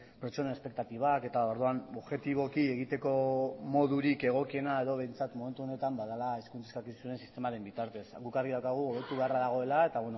pertsonen espektatibak eta orduan objetiboki egiteko modurik egokiena edo behintzat momentu honetan badela hizkuntza eskakizunaren sistemaren bitartez guk argi daukagu hobetu beharra dagoela eta